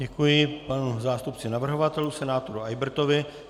Děkuji panu zástupci navrhovatelů senátoru Eybertovi.